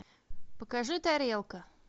покажи тарелка